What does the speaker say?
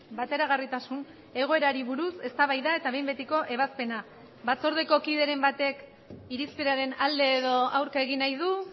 bateragarritasun egoerari buruz eztabaida eta behin betiko ebazpena batzordeko kideren batek irizpenaren alde edo aurka egin nahi du